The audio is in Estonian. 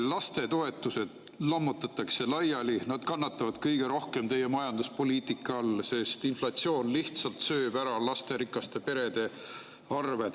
Lastetoetused lammutatakse laiali, kannatavad teie majanduspoliitika all kõige rohkem, sest inflatsioon sööb lasterikaste perede lihtsalt ära.